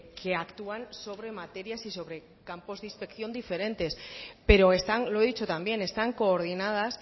que actúan sobre materias y sobre campos de inspección diferentes pero están lo he dicho también están coordinadas